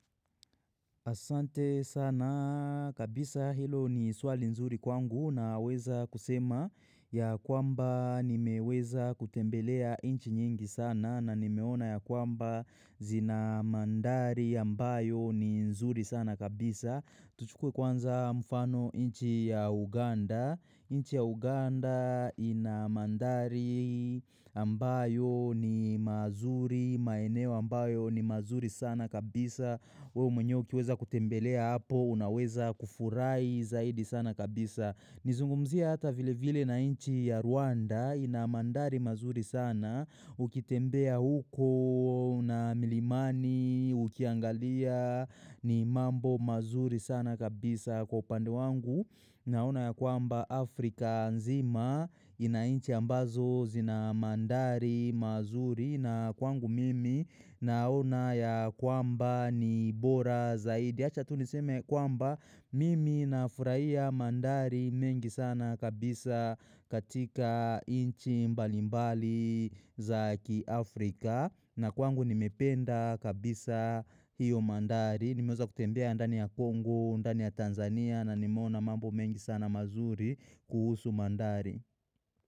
Asante sana kabisa hilo ni swali nzuri kwangu na weza kusema ya kwamba nimeweza kutembelea inchi nyingi sana na nimeona ya kwamba zina mandari ambayo ni nzuri sana kabisa. Tuchukwe kwanza mfano inchi ya Uganda, inchi ya Uganda inamandari ambayo ni mazuri, maeneo ambayo ni mazuri sana kabisa, weo mwenyeuki weza kutembelea hapo, unaweza kufurai zaidi sana kabisa. Nizungumzia hata vile vile na inchi ya Rwanda ina mandari mazuri sana ukitembea huko na milimani ukiangalia ni mambo mazuri sana kabisa kwa pande wangu na una ya kwamba Afrika nzima ina inchi ambazo zina mandari mazuri na kwangu mimi na una ya kwamba ni bora zaidi. Acha tuniseme kwamba mimi nafuraia mandari mengi sana kabisa katika inchi mbalimbali zaki Afrika. Na kwangu nimependa kabisa hiyo mandari. Nimeuza kutembea ndani ya Kongo, ndani ya Tanzania na nimona mambo mengi sana mazuri kuhusu mandari.